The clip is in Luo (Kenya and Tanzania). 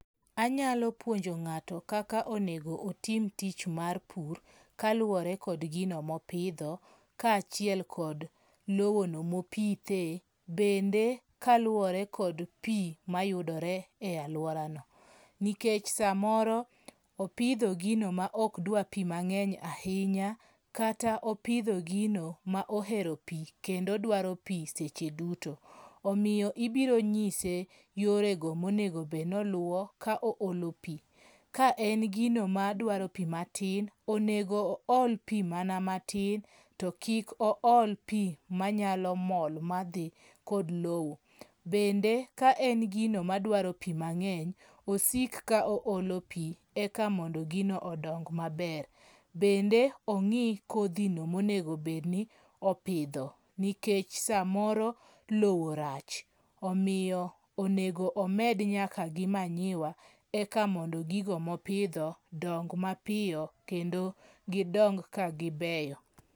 Anyalo puonjo ng'ato kaka onego otim tich mar pur kaluwore kod gino mopidho kaachiel kod lowono mopithe. Bende kaluwore kod pi mayudore e alworano. Nikech samoro opidho gino ma ok dwa pi mang'eny ahinya, kata opidho gino ma ohero pi kendo dwaro pi seche duto. Omiyo ibiro nyise yore go monego bed noluwo ka oolo pi. Ka en gino madwaro pi matin, onego ool pi mana matin, to kik ool pi manyalo mol madhi kod lowo. Bende ka en gino madwaro pi mang'eny, osik ka oolo pi eka mondo gino odong maber. Bende ong'i kodhino monego bedni opidho, nikech samoro lowo rach. Omiyo onego nyaka gi manyiwa eka mondo gigo mopidho dong mapiyo kendo gidong ka gibeyo.